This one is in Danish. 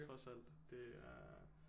Trods alt det er